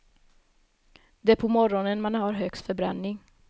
Det är på morgonen man har högst förbränning.